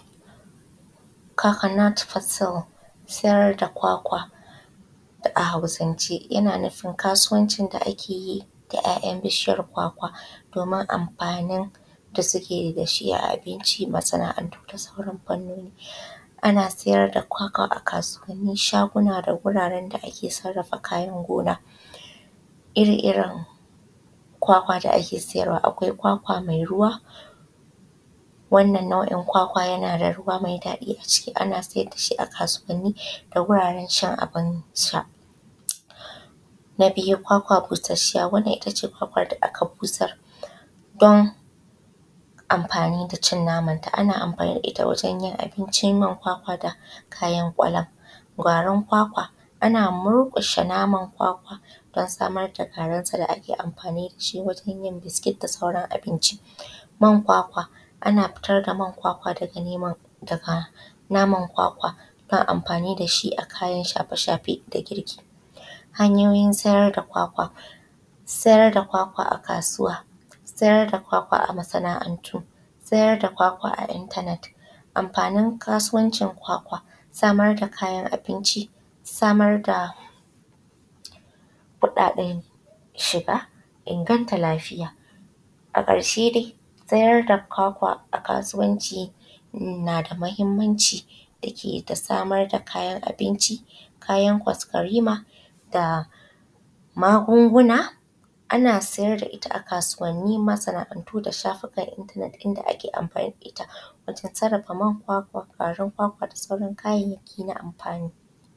Kokonut fosel. Siyar da kwakwa a hausance yana nufin kasuwancin da akeyi da ‘ bishiyar kwakwa domin amfanin da suke dashi a abinci, masa’antu da sauran fannoni. Ana sayar da kwakwa a kasuwanni shaguna da wuraren da ake sarrafa kayan gona iri irrin kwakwa da ake siyarwa akwai kwakwa mai ruwa wannan nau’in kwakwa yanada ruwa mai daɗi a ciki ana saidashi a kasuwanni wuraren shan abunsha. Na biyu kwakwa busashshiy wannan ittace kwakwar da aka busar dan amfani da cinnamon ta ana amfani da itt wajen yin abinci man kwakwa dakayan kwalam. Garin kwakwa ana murkushe manam kwakwa dan samar da garin sa da ake amfani dashi wajen yin biskit da sauran kayyakin abinci. Man kwakwa ana fitar da man kwakwa daga naman kwakwa dan amfani dashi a kayan shafe shafe. Hanyoyin sayar da kwakwa sayar da kwakwa a kasuwa, sayar da kwakwa a masa’antu, sayar da kwakwa a intanet. Amfani kasuwancin kwakwa samar da kayan abinci, samar da kuɗaɗen shiga, inganta lafiya. a ƙarshe dai sayar da kwakwa a kasuwanci nada matuƙar mahimmanci dake samar da abinci, kayan kwaskwarina da magunguna. Ana sayar da itta a kasuwanni masa’antu da shafukar intanet da kae amfani da itt awajen sarrfa man kwakwa, garin kwakwa da sauran kayayyaki na mafani.